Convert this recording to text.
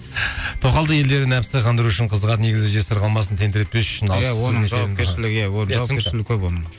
ыыы тоқалды елдер нәпсі қандыру үшін қызығады негізі жесір қалмасын тентіретпес үшін